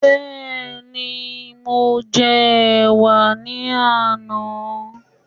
Bẹ́ẹ̀ni, mo jẹ ẹ̀wà ní àná